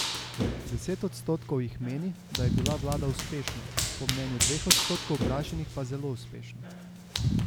Deset odstotkov jih meni, da je bila vlada uspešna, po mnenju dveh odstotkov vprašanih pa zelo uspešna.